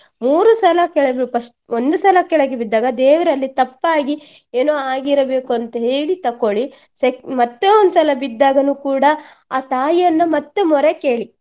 ಮೂರು ಸಲ ಕೆಳಗೆ first ಒಂದು ಸಲ ಕೆಳಗೆ ಬಿದ್ದಾಗ ದೇವರಲ್ಲಿ ತಪ್ಪಾಗಿ ಏನೋ ಆಗಿರಬೇಕು ಅಂತ ಹೇಳಿ ತಕೊಳ್ಳಿ sec~ ಮತ್ತೆ ಒಂದು ಸಲ ಬಿದ್ದಾಗನು ಕೂಡಾ ಆ ತಾಯಿಯನ್ನ ಮತ್ತೆ ಮೊರೆ ಕೇಳಿ.